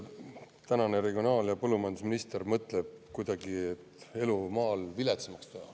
Mina ei usu, et regionaal- ja põllumajandusminister mõtleb kuidagi, et elu maal peab viletsamaks minema.